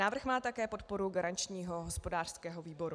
Návrh má také podporu garančního hospodářského výboru.